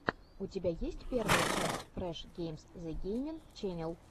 у тебя есть первая часть фреш геймс зэ геймин ченел